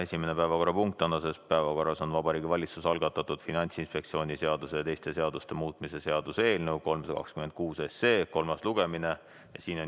Esimene päevakorrapunkt tänases päevakorras on Vabariigi Valitsuse algatatud Finantsinspektsiooni seaduse ja teiste seaduste muutmise seaduse eelnõu 326 kolmas lugemine.